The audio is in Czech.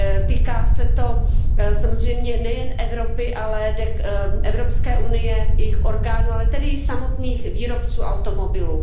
Týká se to samozřejmě nejen Evropské unie, jejich orgánů, ale tedy i samotných výrobců automobilů.